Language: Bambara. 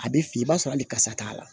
A bɛ fin i b'a sɔrɔ hali karisa t'a la